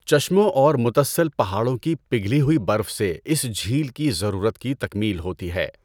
چشموں اور متصل پہاڑوں کی پگھلی ہوئی برف سے اس جھیل کی ضرورت کی تکمیل ہوتی ہے۔